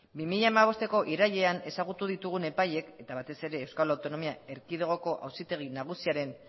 bi mila hamabosteko irailean ezagutu ditugun epaileek eta batez ere euskal autonomia erkidegoko auzitegi nagusiaren